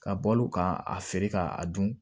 Ka bɔl'u kan a feere ka a dun